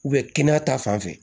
kɛnɛya ta fanfɛ